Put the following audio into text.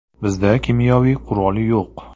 “Bizda kimyoviy qurol yo‘q.